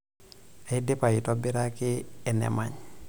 Aidipa iatobiraki enemany.